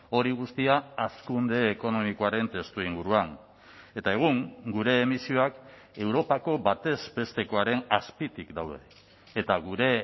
hori guztia hazkunde ekonomikoaren testuinguruan eta egun gure emisioak europako batez bestekoaren azpitik daude eta gure